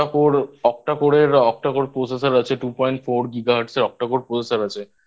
Octa Core র Processor আছে 2.4 ghz Octa Core Processor আছে